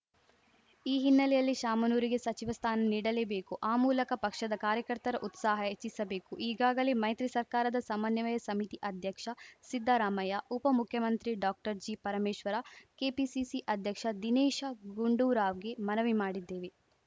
ಈ ಹಿನ್ನೆಲೆಯಲ್ಲಿ ಶಾಮನೂರುಗೆ ಸಚಿವ ಸ್ಥಾನ ನೀಡಲೇಬೇಕು ಆ ಮೂಲಕ ಪಕ್ಷದ ಕಾರ್ಯಕರ್ತರ ಉತ್ಸಾಹ ಹೆಚ್ಚಿಸಬೇಕು ಈಗಾಗಲೇ ಮೈತ್ರಿ ಸರ್ಕಾರದ ಸಮನ್ವಯ ಸಮಿತಿ ಅಧ್ಯಕ್ಷ ಸಿದ್ದರಾಮಯ್ಯ ಉಪ ಮುಖ್ಯಮಂತ್ರಿ ಡಾಕ್ಟರ್ಜಿಪರಮೇಶ್ವರ ಕೆಪಿಸಿಸಿ ಅಧ್ಯಕ್ಷ ದಿನೇಶ ಗುಂಡೂರಾವ್‌ಗೆ ಮನವಿ ಮಾಡಿದ್ದೇವೆ